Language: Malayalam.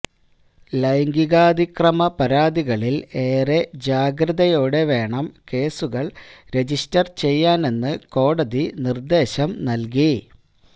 ലൈംഗികാതിക്രമ പരാതികളിൽ ഏറെ ജാഗ്രതയോടെ വേണം കേസുകൾ രജിസ്റ്റർ ചെയ്യാനെന്ന് കോടതി നിർദേശം നൽകി